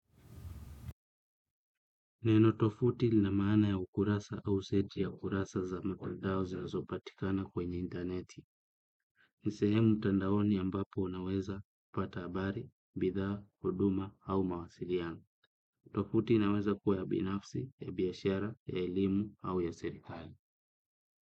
Neno tovuti lina maana ya ukurasa au seti ya kurasa za matandao zinazopatikana kwenye intaneti. Ni sehemu tandaoni ambapo unaweza kupata habari, bidhaa, huduma au mawasiliano. Tovuti inaweza kuwa ya binafsi, ya biashara, ya elimu au ya serikali.